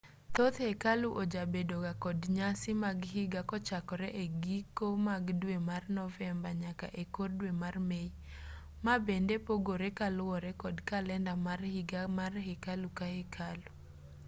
thoth hekalu ojabedo ga kod nyasi mag higa kochakore e giko mag dwe mar novemba nyaka e kor dwe mar mei ma bende pogore kaluwore kod kalenda mar higa mar hekalu ka hekalu